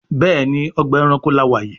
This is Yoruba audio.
Béèni Ọgbà ẹranko là wá yí.